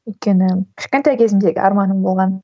өйткені кішкентай кезімдегі арманым болған